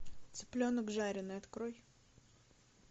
цыпленок жареный открой